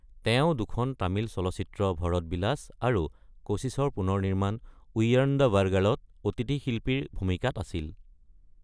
তেওঁ দুখন তামিল চলচ্চিত্ৰ, ভৰত বিলাস আৰু কোশিশৰ পুনৰনিৰ্মাণ য়ুয়াৰ্ণধাবাৰ্গালত অতিথি শিল্পীৰ ভূমিকাত আছিল।